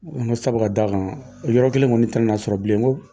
N ko sabu ka da kan, o yɔrɔ kelen kɔni tɛna na sɔrɔ bilen n ko